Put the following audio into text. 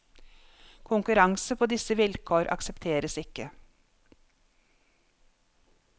Konkurranse på disse vilkår aksepteres ikke.